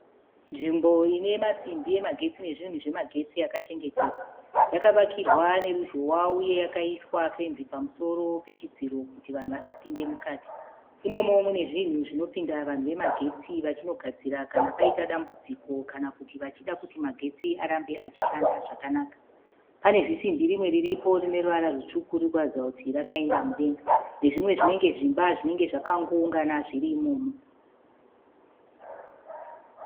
Nzvimbo inemasimbi emagetsi nezvunhu zvemagetsi yakachengetedzwa. Yakavakirwa neruzhowa uye yakaiswa fenzi pamusoro pechidziro kuti vanhu vasapinde mukati. Imomo munezvinhu zvinopinda vanhu vemagetsi vachinogadzira kana paita dambudziko kana kuti vachida kuti magetsi arambe achishanda zvakanaka. Panezisimbi rimwe riripo rine ruvara rwutsvuku ririkuratidza kuti rakainda mudenga, nezvimwe zvinenge zvimba zvinenge zvakangoungana zviri imomo.